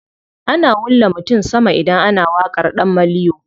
Ana wulla mutum sama idan ana waƙar ɗan maliyo.